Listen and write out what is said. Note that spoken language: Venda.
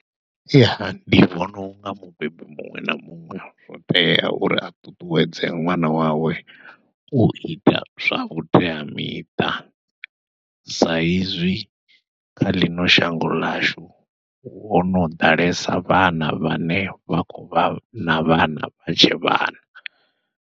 Ya ndi vhona unga mubebi muṅwe na muṅwe zwo tea uri a ṱuṱuwedze ṅwana wawe u ita zwa vhuteamiṱa, saizwi kha ḽino shango ḽashu hono ḓalesa vhana vhane vha khou vha na vhana vha tshe vhana.